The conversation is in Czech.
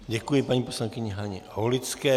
Děkuji paní poslankyni Haně Aulické.